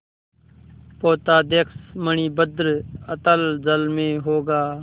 पोताध्यक्ष मणिभद्र अतल जल में होगा